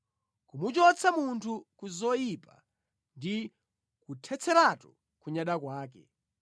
kumuchotsa munthu ku zoyipa, ndi kuthetseratu kunyada kwake,